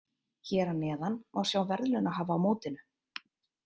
Hér að neðan má sjá verðlaunahafa á mótinu.